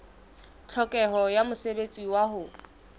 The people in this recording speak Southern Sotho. tlhokeho ya mosebetsi wa ho